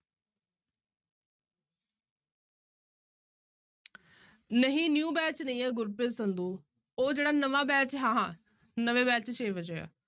ਨਹੀਂ new batch ਨਹੀਂ ਆਂ ਗੁਰਪ੍ਰੀਤ ਸੰਧੂ, ਉਹ ਜਿਹੜਾ ਨਵਾਂ batch ਹਾਂ ਹਾਂ, ਨਵੇਂ batch ਛੇ ਵਜੇ ਆ।